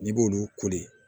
N'i b'olu koli